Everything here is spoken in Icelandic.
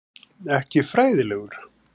Ekki fræðilegur.